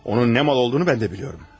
Onun ne mal olduğunu ben de biliyorum.